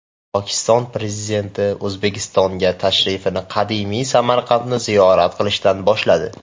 Pokiston Prezidenti O‘zbekistonga tashrifini qadimiy Samarqandni ziyorat qilishdan boshladi.